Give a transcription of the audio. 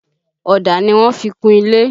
Ọ̀dà ni wọ́n fi kun ilé